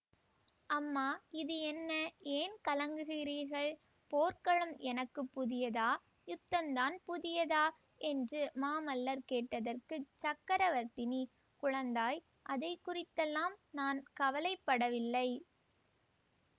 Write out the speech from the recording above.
அம்மா இது என்ன ஏன் கலங்குகிறீர்கள் போர்க்களம் எனக்கு புதியதா யுத்தந்தான் புதியதா என்று மாமல்லர் கேட்டதற்குச் சக்கரவர்த்தினி குழந்தாய் அதை குறித்தெல்லாம் நான் கவலை படவில்லை